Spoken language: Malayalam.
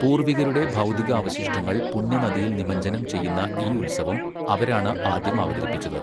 പൂർവ്വികരുടെ ഭൗതികാവശിഷ്ടങ്ങൾ പുണ്യനദിയിൽ നിമജ്ജനം ചെയ്യുന്ന ഈ ഉത്സവം അവരാണ് ആദ്യം അവതരിപ്പിച്ചത്.